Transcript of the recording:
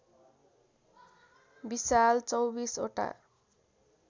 विशाल २४ वटा